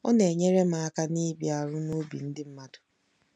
Ọ Na-enyere M Aka Ịbịaru n'Obi Ndị Mmadụ